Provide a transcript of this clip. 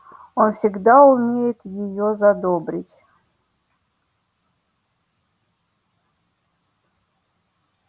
он всегда умеет её задобрить